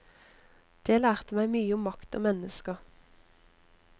Det lærte meg mye om makt og mennesker.